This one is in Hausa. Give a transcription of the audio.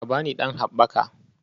Ka ba ni ɗan haɓɓaka